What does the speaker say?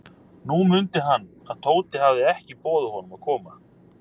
Nú mundi hann, að Tóti hafði ekki boðið honum að koma.